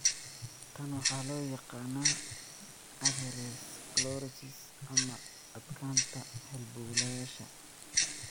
Tan waxaa loo yaqaannaa atherosclerosis ama adkaanta halbowlayaasha.